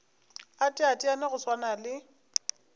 a teteane go swana le